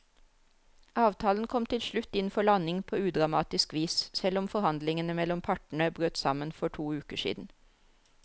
Avtalen kom til slutt inn for landing på udramatisk vis, selv om forhandlingene mellom partene brøt sammen for to uker siden.